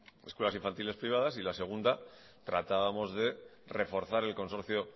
escuelas infantiles privadas y la segunda tratábamos de reforzar el consorcio